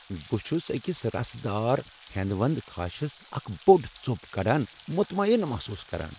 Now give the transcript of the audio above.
بہٕ چھس أکس رسدار ہٮ۪نٛدوٮ۪نٛد خاشس اکھ بوٚڑ ژوٚپ کڑان مطمعین محصوص كران ۔